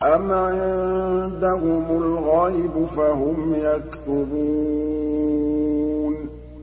أَمْ عِندَهُمُ الْغَيْبُ فَهُمْ يَكْتُبُونَ